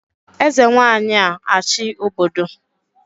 Eze Nwanyị a-achị obodo